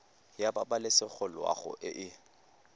ya pabalesego loago e e